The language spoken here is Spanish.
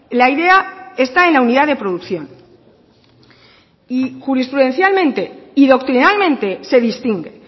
la idea está en la unidad de producción y jurisprudencialmente y doctrinalmente se distingue